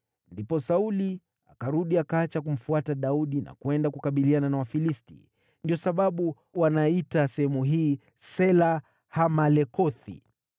Ndipo Sauli akarudi akaacha kumfuata Daudi na kwenda kukabiliana na Wafilisti. Ndiyo sababu wanaiita sehemu hii Sela-Hamalekothi.